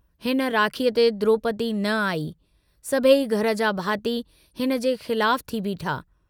हिन राखीअ ते द्रोपदी न आई, सभेई घर जा भाती हिनजे खिलाफु थी बीठा।